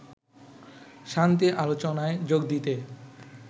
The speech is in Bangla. শান্তি আলোচনায় যোগ দিতে